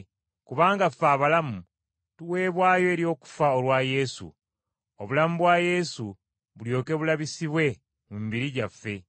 Kubanga ffe abalamu tuweebwayo eri okufa olwa Yesu, obulamu bwa Yesu bulyoke bulabisibwe mu mibiri gyaffe.